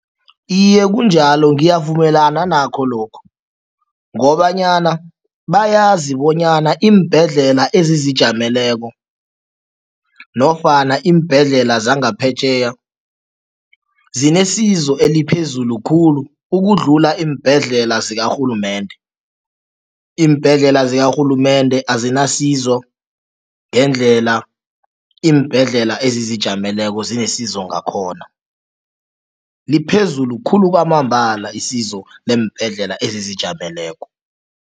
Iye, kunjalo ngiyavumelana nakho lokhu ngobanyana bayazi bonyana iimbhedlela ezizijameleko nofana iimbhedlela zangaphetjheya zinesizo eliphezulu khulu ukudlula iimbhedlela zikarhulumende. Iimbhedlela zikarhulumende azinasizo ngendlela iimbhedlela ezizijameleko zinesizo ngakhona, liphezulu khulu kwamambala isizo leembhedlela ezizijameleko.